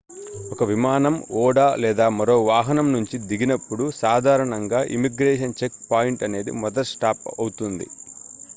ఒక విమానం ఓడ లేదా మరో వాహనం నుంచి దిగినప్పుడు సాధారణంగా ఇమిగ్రేషన్ చెక్ పాయింట్ అనేది మొదటి స్టాప్ అవుతుంది